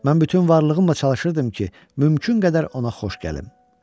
Mən bütün varlığımla çalışırdım ki, mümkün qədər ona xoş gəlim.